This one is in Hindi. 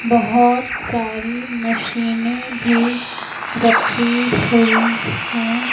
बहोत सारी मशीनें भी रखी हुई है।